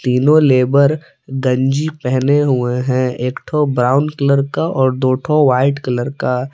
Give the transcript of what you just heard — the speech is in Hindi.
तीनों लेबर गंजी पहने हुए हैं एक ठो ब्राउन कलर का और दो ठो व्हाइट कलर का।